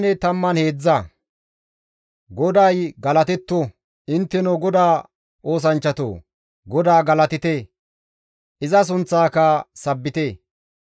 GODAY galatetto! Intteno GODAA oosanchchatoo! GODAA galatite! Iza sunththaaka sabbite!